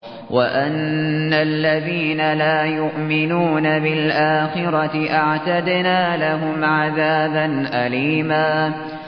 وَأَنَّ الَّذِينَ لَا يُؤْمِنُونَ بِالْآخِرَةِ أَعْتَدْنَا لَهُمْ عَذَابًا أَلِيمًا